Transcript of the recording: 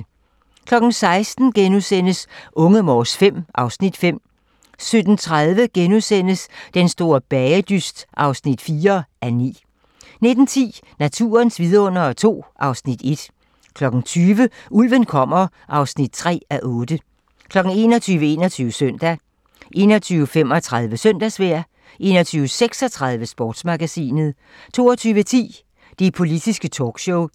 16:00: Unge Morse V (Afs. 5)* 17:30: Den store bagedyst (4:9)* 19:10: Naturens vidundere II (Afs. 1) 20:00: Ulven kommer (3:8) 21:00: 21 Søndag 21:35: Søndagsvejr 21:36: Sportsmagasinet 22:10: Det politiske talkshow